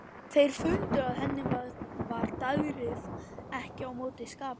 Þeir fundu að henni var daðrið ekki á móti skapi.